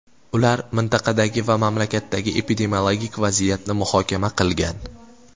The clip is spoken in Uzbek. Ular mintaqadagi va mamlakatdagi epidemiologik vaziyatni muhokama qilgan.